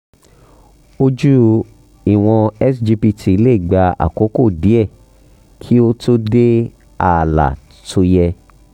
ojú ìwọ̀n sgpt lè gba àkókò díẹ̀ kí ó tó dé ààlà tó yẹ